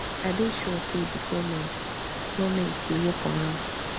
i dey sure say di goment goment dey work on am